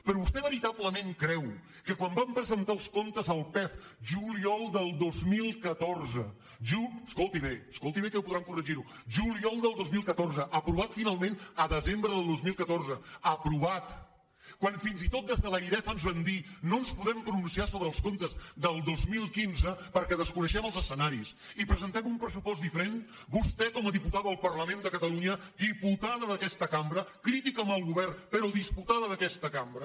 però vostè veritablement creu que quan vam presentar els comptes el pef juliol del dos mil catorze escolti bé escoltiho bé que ho podran corregir juliol de dos mil catorze aprovat finalment a desembre del dos mil catorze aprovat quan fins i tot des de l’airef ens van dir no ens podem pronunciar sobre els comptes del dos mil quinze perquè desconeixem els escenaris i presentem un pressupost diferent vostè com a diputada al parlament de catalunya diputada d’aquesta cambra crítica amb el govern però diputada d’aquesta cambra